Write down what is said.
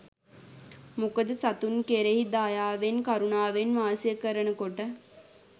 මොකද සතුන් කෙරෙහි දයාවෙන් කරුණාවෙන් වාසය කරනකොට